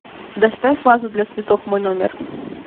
доставь вазу для цветов в мой номер